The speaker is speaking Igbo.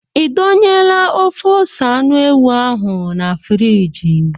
Ị dọnyela ofe ose anụ ewu ahụ na friji?